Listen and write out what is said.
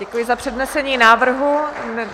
Děkuji za přednesení návrhu.